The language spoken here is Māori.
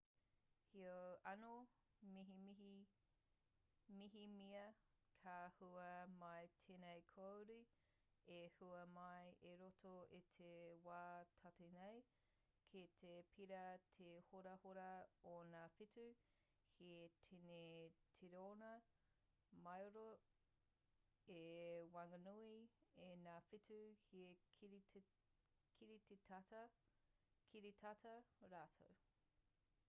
heoi anō mehemea ka hua mai tēnei kāore e hua mai i roto i te wā tata nei kei te pērā te horahora o ngā whetū he tini tiriona māero i waenganui i ngā whetū he kiritata rātou